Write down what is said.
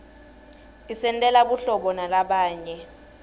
isentela buhlobo nalabanye